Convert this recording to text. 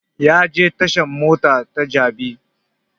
Ya je tashan mota ta jabi